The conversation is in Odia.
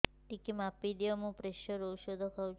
ଟିକେ ମାପିଦିଅ ମୁଁ ପ୍ରେସର ଔଷଧ ଖାଉଚି